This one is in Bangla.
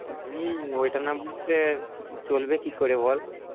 হম ওইটা না বসলে আর চলবে কি করে বল